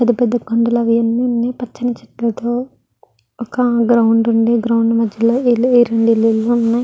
పెద్ద పెద్ద కొండలు అవి అన్ని ఉన్నాయ్ పచ్చని చెట్లతో ఒక గ్రౌండ్ ఉంది గ్రౌండ్ మధ్యలో రెండు ఇల్లులు ఉన్నాయి.